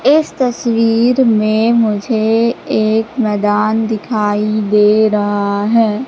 इस तस्वीर में मुझे एक मैदान दिखाई दे रहा है।